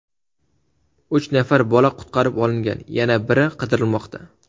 Uch nafar bola qutqarib olingan, yana biri qidirilmoqda.